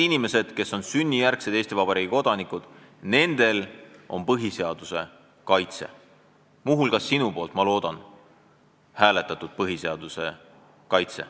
Inimestel, kes on sünnijärgsed Eesti Vabariigi kodanikud, on põhiseaduse kaitse – muu hulgas loodetavasti ka sinu poolthäälega antud põhiseaduse kaitse.